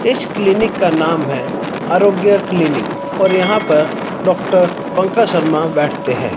इस क्लिनिक का नाम है आरोग्य क्लिनिक और यहां पर डॉक्टर पंकज शर्मा बैठते हैं।